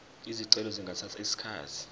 izicelo zingathatha isikhathi